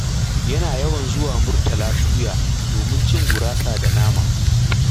Yana yawan zuwa Murtala Suya domin cin gurasa da nama